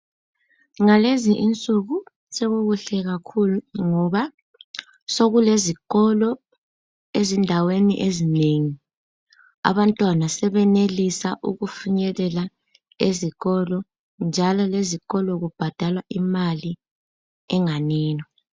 Ngalezi insuku sokukuhle kakhulu ngoba sokulezikolo ezindaweni ezinengi. Abantwana sebenelisa ukufinyelela ezikolo njalo lezikolo kubhadalwa imali enganeno.